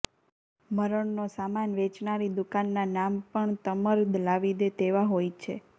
મરણનો સામાન વેચનારી દુકાનના નામ પણ તમ્મર લાવી દે તેવા હોય છે